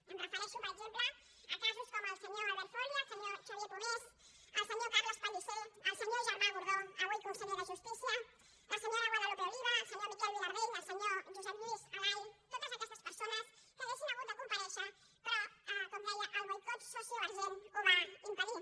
em refereixo per exemple a casos com el del senyor albert folia el senyor xavier pomés el senyor carles pellicer el senyor germà gordó avui conseller de justícia la senyora guadalupe oliva el senyor miquel vilardell el senyor josep lluís alay a totes aquestes persones que haurien hagut de comparèixer però com deia el boicot sociovergent ho va impedir